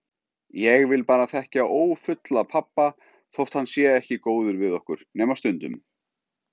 Ég vil bara þekkja ófulla pabba þótt hann sé ekki góður við okkur, nema stundum.